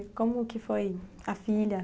E como que foi a filha?